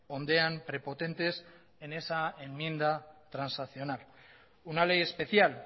ondean prepotentes en esa enmienda transaccional una ley especial